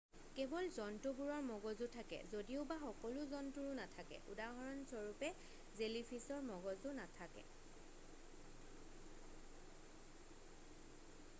"কেৱল জন্তুবোৰৰ মগজু থাকে যদিওবা সকলো জন্তুৰো নাথাকে; উদাহৰণস্বৰূপে জেলিফিছৰ মগজু নাথাকে।""